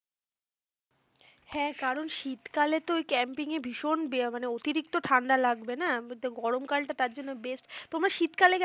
হ্যাঁ কারণ শীতকালে তো ওই camping ভীষণ মানে অতিরিক্ত ঠান্ডা লাগবে না? গরমকালটা তার জন্য best তোমরা শীতকালে গেছো